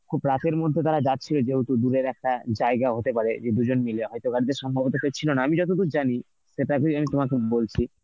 খুব এর মধ্যে তারা যাচ্ছিল যেহুতু দূরের একটা জায়গা হতে পারে যে দুজন মিলে হয়তো গাড়িতে সম্ভবত কেউ ছিল না, আমি যতদূর জানি সেটাকেই আমি তোমাকে বলছি